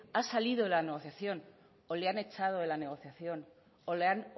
ha salido de la negociación o le han echado de la negociación o le han